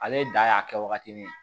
Ale dan y'a kɛ waagati min